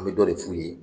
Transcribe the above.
An bɛ dɔ de f'u ye